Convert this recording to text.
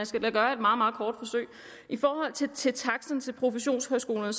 skal da gøre et meget meget kort forsøg i forhold til til taksterne til professionshøjskolerne